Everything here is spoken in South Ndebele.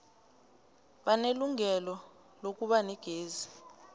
banelungelo lokuba negezi